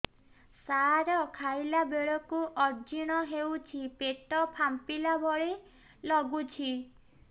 ସାର ଖାଇଲା ବେଳକୁ ଅଜିର୍ଣ ହେଉଛି ପେଟ ଫାମ୍ପିଲା ଭଳି ଲଗୁଛି